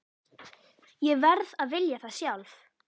Ég verð að vilja það sjálf.